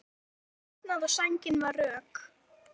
Hann hafði svitnað og sængin var rök.